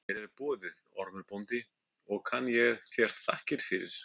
Vel er boðið, Ormur bóndi, og kann ég þér þakkir fyrir.